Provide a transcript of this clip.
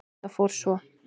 Það fór svo.